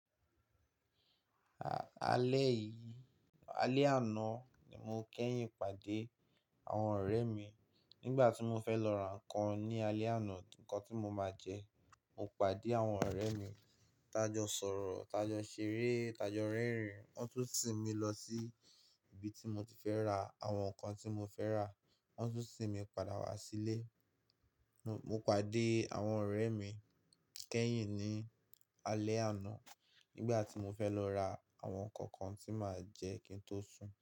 A-alẹ́ yìí, alẹ́ àná ni mo kẹ́yìn pàdé àwọn ọ̀rẹ́ mi. Nígbà tí mo fẹ́ lọ ra nǹkan ní alẹ́ àná, nǹkan tí mo máa jẹ, mo pàdé àwọn ọ̀rẹ́ mi. Tá jọ sọ̀rọ̀, tá jọ ṣeré, tá jọ rẹ́rìn. Wọ́n tún sìn mi lọ sí ibi tí mo ti fẹ́ ra àwọn nǹkan tí mo fẹ́ rà, wọ́n tún sìn mi padà wá sílé. Mo pàdé àwọn ọ̀rẹ́ mi kẹ́yìn ní alẹ́ àná nígbà tí mo fẹ́ lọ ra àwọn nǹkan nǹkan tí màá jẹ kí n tó sùn.